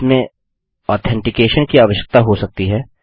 इसमें ऑथेन्टिकैशन की आवश्यकता हो सकती है